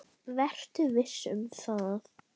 Vertu viss um það.